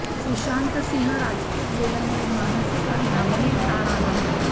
सुशांत सिंह राजपूत गेल्यामुळे मानसिक आणि भावनिक ताण आला होता